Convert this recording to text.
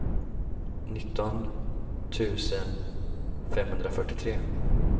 nitton tusen femhundrafyrtiotre